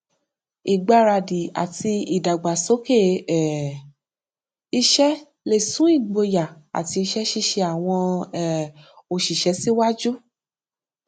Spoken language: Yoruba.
ìgbáradì àti ìdàgbàsókè um iṣẹ lè sún ìgboyà àti iṣẹ ṣíṣe àwọn um òṣìṣẹ síwájú